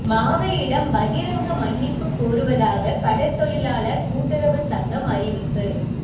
மாவையிடம் பகிரங்க மன்னிப்புக் கோருவதாக கடற் தொழிலாளர் கூட்டுறவுச் சங்கம் அறிவிப்பு